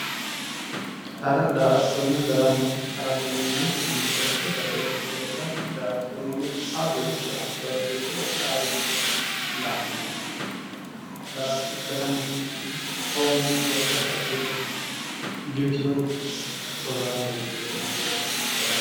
Hara, daa"attonna darama, harate yinneemmo woyte mite basenni wole base sa"a ,daa"attote yinneemmo woyte haaroricho anfoonikkiricho baxisanoricho la'nanni garati, daramate yinneemmo woyte xonqe base agure giwisinorichi heerenna shorrame woyi agurre harate